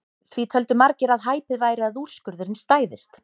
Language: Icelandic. Því töldu margir að hæpið væri að úrskurðurinn stæðist.